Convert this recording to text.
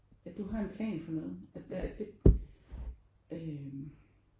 At du har en plan for noget at det øh